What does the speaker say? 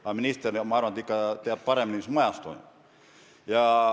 Aga minister, ma arvan, teab ikka paremini, mis toimub.